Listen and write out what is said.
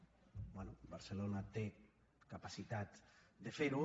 bé barcelona té capacitat de fer ho